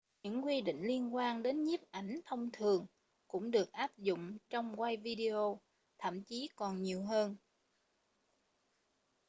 những quy định liên quan đến nhiếp ảnh thông thường cũng được áp dụng trong quay video thậm chí còn nhiều hơn